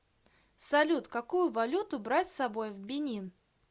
салют какую валюту брать с собой в бенин